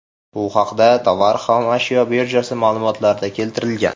Bu haqda Tovar xom ashyo birjasi ma’lumotlarida keltirilgan .